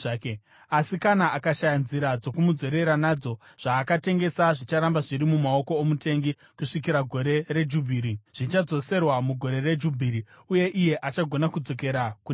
Asi kana akashaya nzira dzokumudzorera nadzo, zvaakatengesa zvicharamba zviri mumaoko omutengi kusvikira gore reJubhiri. Zvichadzoserwa mugore reJubhiri uye iye achagona kudzokera kune zvake.